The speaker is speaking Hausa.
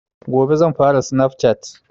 Gobe zan fara snaf cat